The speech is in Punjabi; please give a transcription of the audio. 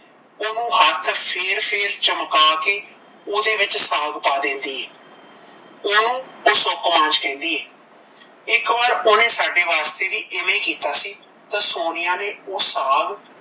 ਓਹਨੂੰ ਹੱਥ ਫੇਰ ਫੇਰ ਚਮਕਾ ਕੇ ਉਹਦੇ ਵਿੱਚ ਸਾਗ ਪ ਦਿੰਦੀ ਐ ਓਹ ਓਸਨੂੰ ਸੌਕਾਂਜ ਕਹਿੰਦੀ ਐ ਇੱਕ ਵਾਰ ਓਹਨੇ ਸਾਡੇ ਵਾਸਤੇ ਵੀ ਓਵੇ ਹੀ ਕੀਤਾ ਸੀ ਤਾਂ ਸੋਨੀਆ ਨੇ